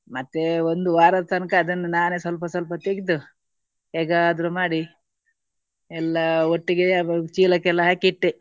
ಮತ್ತೆ ಒಂದು ವಾರದ ತನಕ ಅದನ್ನು ನಾನೇ ಸ್ವಲ್ಪ ಸ್ವಲ್ಪ ತೆಗ್ದು ಹೇಗಾದ್ರು ಮಾಡಿ ಎಲ್ಲ ಒಟ್ಟಿಗೆಯೇ ಚೀಲಕ್ಕೆ ಎಲ್ಲ ಹಾಕಿ ಇಟ್ಟೆ.